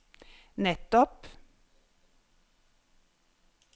nettopp